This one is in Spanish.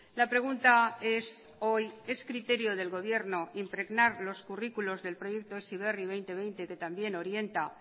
la pregunta es hoy es criterio del gobierno impregnar los currículos del proyecto heziberri dos mil veinte que también orienta